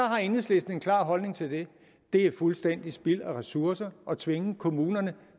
har enhedslisten en klar holdning til det er fuldstændig spild af ressourcer at tvinge kommunerne